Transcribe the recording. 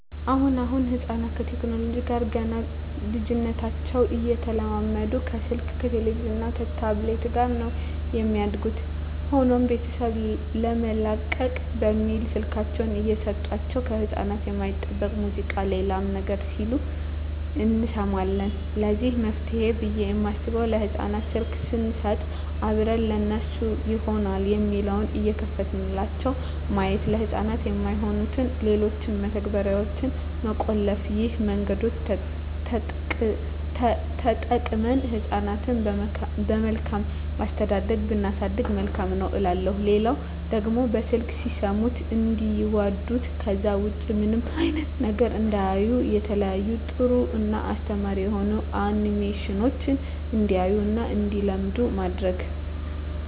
አሁን አሁን ህጻናት ከቴክኖለጂው ጋር ገና በልጂነታቸው እየተላመዱ ከስልክ ከቲቪ እና ከታብሌት ጋር ነው የሚያድጉት። ሆኖም ቤተሰብ ለመላቀቅ በሚል ስልካቸውን እየሰጦቸው ከህጻናት የማይጠበቅ ሙዚቃ ሌላም ነገር ሲሉ እንሰማለን ለዚህ መፍትሄ ብየ የማስበው ለህጻናት ስልክ ሰንሰጥ አብረን ለነሱ ይሆናል የሚለውን እየከፈትንላቸው ማየት፤ ለህጻናት የማይሆኑትን ሌሎችን መተግበርያዋች መቆለፍ ይህን መንገዶች ተጠቅመን ህጻናትን በመልካም አስተዳደግ ብናሳድግ መልካም ነው እላለሁ። ሌላው ደግሞ በስልክ ሲሰሙት እንዲዋዱት ከዛ ውጭ ምንም አይነት ነገር እንዳያዩ የተለያዩ ጥሩ እና አስተማሪ የሆኑ አኒሜሽኖችን እንዲያዩ እና እንዲለምዱ ማድረግ።